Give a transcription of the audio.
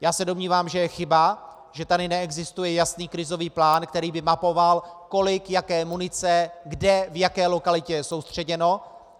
Já se domnívám, že je chyba, že tady neexistuje jasný krizový plán, který by mapoval, kolik jaké munice kde v jaké lokalitě je soustředěno.